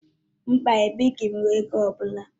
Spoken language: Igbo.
Mba, ebirighi m ego ọ bụla